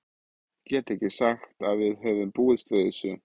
Ég get ekki sagt að við höfum búist við þessu.